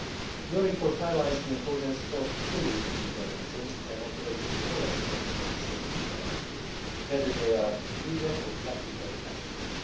Your report highlights the importance of fully implementing and operating all aspects of the Services Directive, whether they are legal or practical aspects.